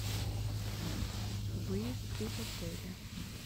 выезд из отеля